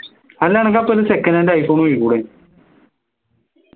അല്ല അനക്ക് അപ്പോ ഒരു second hand iphone നോക്കിക്കൂടെ